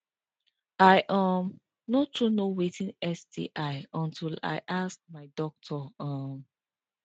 i um no too know watin sti until i ask my doctor um